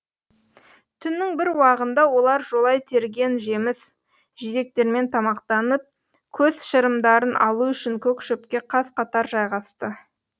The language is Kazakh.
түннің бір уағында олар жолай терген жеміс жидектермен тамақтанып көз шырымдарын алу үшін көк шөпке қаз қатар жайғасты